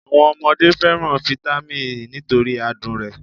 Àwọn ọmọdé fẹ́ràn fitami s nítorí adùn rẹ̀